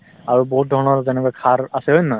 আৰু বহুত ধৰণৰ যেনেকৈ সাৰ আছে হয় নে নহয়